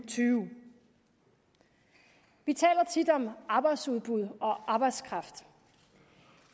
tyve vi taler tit om arbejdsudbud og arbejdskraft